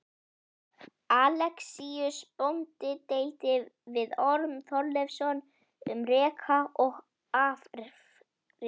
Alexíus bóndi deildi við Orm Þorleifsson um reka og afrétt.